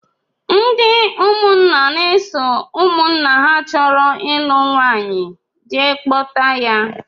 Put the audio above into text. Ndị ụmụnna na-eso nwanna ha chọrọ ịlụ nwaanyị jee kpọta ya